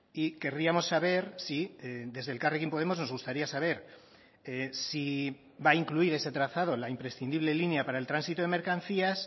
y querríamos saber si desde elkarrekin podemos nos gustaría saber si va a incluir ese trazado la imprescindible línea para el tránsito de mercancías